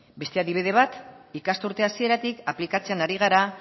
beste adibide bat ikasturte hasieratik aplikatzen ari gara